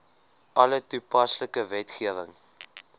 alle toepaslike wetgewing